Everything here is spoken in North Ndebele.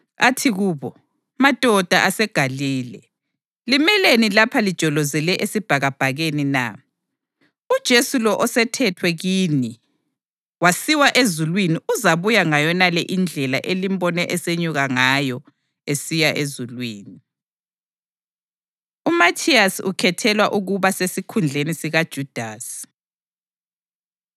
Athi kubo, “Madoda aseGalile, limeleni lapha lijolozele esibhakabhakeni na? UJesu lo osethethwe kini wasiwa ezulwini uzabuya ngayonale indlela elimbone esenyuka ngayo esiya ezulwini.” UMathiyasi Ukhethelwa Ukuba Sesikhundleni SikaJudasi